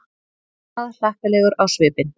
Glaðhlakkalegur á svipinn.